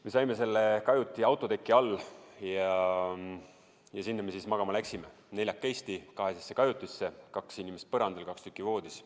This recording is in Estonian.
Me saime selle kajuti autoteki alla ja sinna me siis magama läksime, neljakesi kahesesse kajutisse: kaks inimest põrandal, kaks voodis.